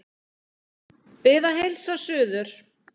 Bið að heilsa suður.